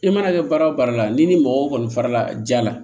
I mana kɛ baara o baara la ni ni mɔgɔ o kɔni fara la ja la